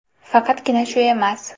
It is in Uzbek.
Faqatgina shu emas.